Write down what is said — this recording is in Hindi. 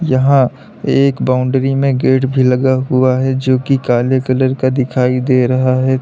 यहां एक बाउंड्री में गेट लगा हुआ है जो की काले कलर का दिखाई दे रहा है।